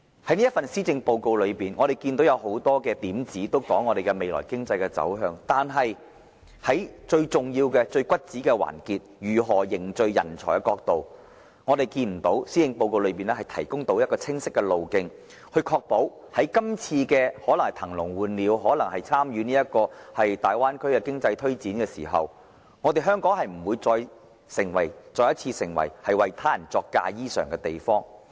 這份施政報告中很多點子提及香港未來的經濟走向，但對於最重要的問題，即如何匯聚人才，施政報告未能提供清晰的路徑，確保在"騰籠換鳥"、參與大灣區的經濟推展時，香港不會再次成為為他人作嫁衣裳的地方。